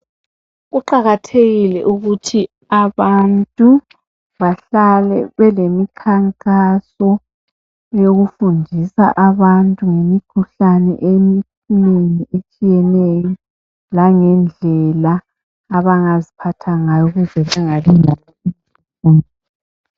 Kuqakathekile ukuthi abantu bahlale belemikhankaso eyokufundisa abantu ngemikhuhlane eminengi etshiyenenyo langendlela abangaziphatha ngayo ukuze